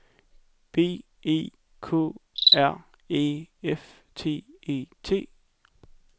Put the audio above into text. B E K R Æ F T E T